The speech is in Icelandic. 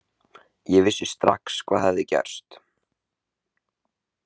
Ég vissi strax hvað hafði gerst.